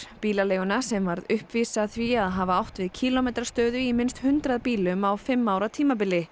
bílaleiguna sem varð uppvís að því að hafa átt við kílómetrastöðu í minnst hundrað bílum á fimm ára tímabili